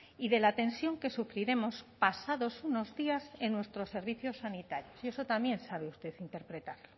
y de la tensión que sufriremos pasados unos días en nuestros servicios sanitarios y eso también sabe usted interpretarlo